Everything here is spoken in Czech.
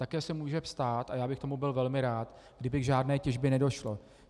Také se může stát, a já bych tomu byl velmi rád, kdyby k žádné těžbě nedošlo.